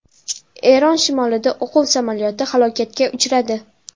Eron shimolida o‘quv samolyoti halokatga uchradi.